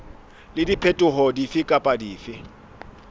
le diphetoho dife kapa dife